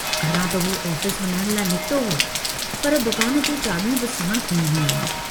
घरां त हू ऑफिस वञण लाइ निकितो हो पर दुकान जूं चाबियूं बि साणु खंयूं हुआईं।